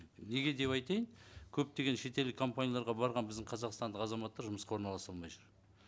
неге деп айтайын көптеген шетелдік компанияларға барған біздің қазақстандық азаматтар жұмысқа орналаса алмай жүр